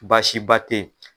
Baasiba tɛ ye.